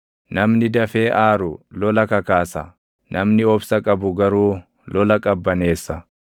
Namni dafee aaru lola kakaasa; namni obsa qabu garuu lola qabbaneessa.